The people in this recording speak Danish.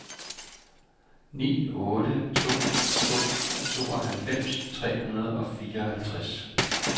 ni otte to to tooghalvfems tre hundrede og fireoghalvtreds